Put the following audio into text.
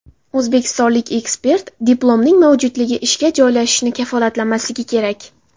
O‘zbekistonlik ekspert: Diplomning mavjudligi ishga joylashishni kafolatlamasligi kerak.